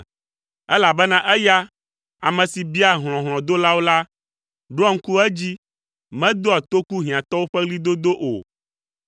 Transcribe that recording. Elabena eya, ame si biaa hlɔ̃ hlɔ̃dolawo la, ɖoa ŋku edzi, medoa toku hiãtɔwo ƒe ɣlidodo o.